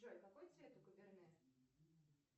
джой какой цвет у каберне